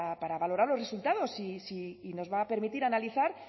para valorar los resultados y nos va a permitir analizar